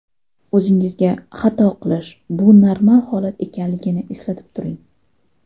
O‘zingizga, xato qilish bu normal holat ekanligini eslatib turing.